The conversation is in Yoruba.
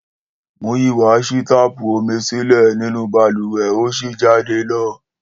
Múyìíwá ṣí táàpù omi sílẹ̀ nínú balùwẹ̀ ó sì jáde lọ